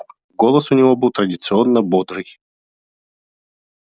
голос у него был традиционно бодрый